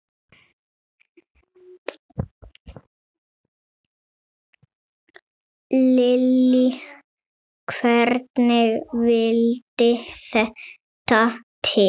Lillý: Hvernig vildi þetta til?